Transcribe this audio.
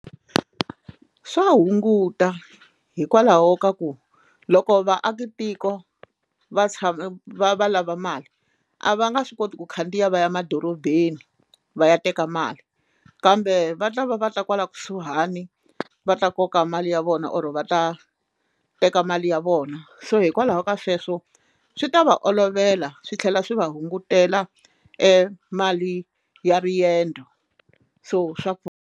Swa hunguta hikwalaho ka ku loko vaakatiko va tshama va va lava mali a va nga swi koti ku khandziya va ya emadorobeni va ya teka mali kambe va ta va va ta kwala kusuhani va ta koka mali ya vona or va ta teka mali ya vona so hikwalaho ka sweswo swi ta va olovela swi tlhela swi va hungutela e mali ya riendzo so swa pfuna.